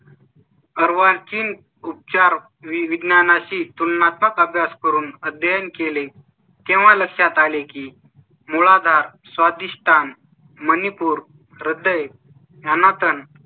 अर्वाचीन उपचार विज्ञाना शी तुलनात्मक अभ्यास करून अध्ययन केले तेव्हा लक्षात आले की मूलाधार स्वा धिष्ठान मणिपूर रद्द ये यांना